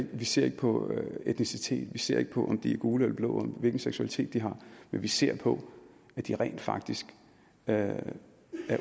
vi ser ikke på etnicitet vi ser ikke på om de er gule eller blå hvilken seksualitet de har men vi ser på at de rent faktisk er